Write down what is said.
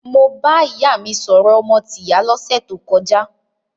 Mo bá ìyá mi sọ̀rọ̀ ọmọ tìyá lọ́sẹ̀ tó kọjá.